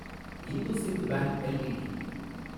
IndusInd bank LTD